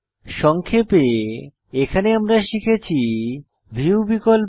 সংক্ষেপে এখানে আমরা শিখেছি ভিউ বিকল্প